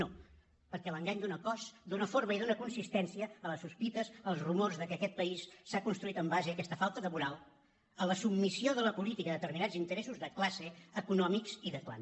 no perquè l’engany dóna cos dóna forma i dóna consistència a les sospites als rumors que aquest país s’ha construït en base a aquesta falta de moral a la submissió de la política a determinats interessos de classe econòmics i de clan